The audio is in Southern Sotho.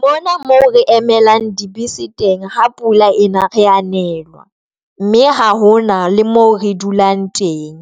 Mona mo re emelang dibese teng ha pula ena re a nelwa, mme ha hona le mo re dulang teng.